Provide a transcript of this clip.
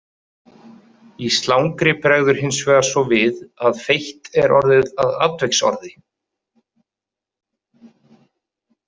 Í slangri bregður hinsvegar svo við að feitt er orðið að atviksorði.